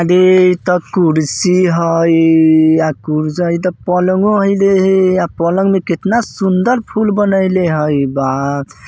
आगे एता कुरसी हइ। आ कुरसी हइ त पलंगो हइ रे हे। आ पलंग ए कितना सुंदर फूल बनइले हइ बा ।